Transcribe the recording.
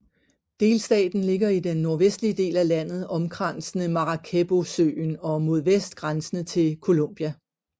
Delstaten ligger i den nordvestlige del af landet omkransende Maracaibosøen og mod vest grænsende til Colombia